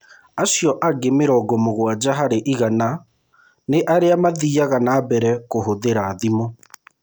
Acio angĩ mĩrongo mũgwanja harĩ igana nĩ arĩa mathiaga na mbere na kũhũthĩra thimũ.